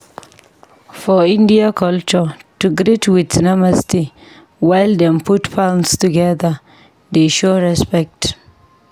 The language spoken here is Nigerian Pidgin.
For India culture, to greet with "Namaste" while dem put palms together dey show respect.